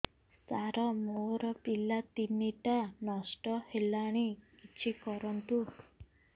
ସାର ମୋର ପିଲା ତିନିଟା ନଷ୍ଟ ହେଲାଣି କିଛି କରନ୍ତୁ